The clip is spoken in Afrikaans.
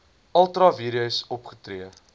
ultra vires opgetree